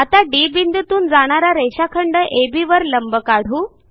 आता डी बिंदूतून जाणारा रेषाखंड अब वर एक लंब काढू